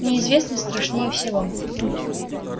неизвестность страшнее всего